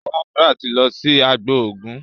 Sandra tí lọ sì àgbò oògùn.